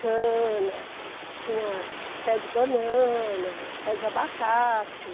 Cana, tinha pé de banana, pé de abacate.